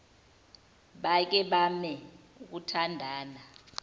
bake bame ukuthandana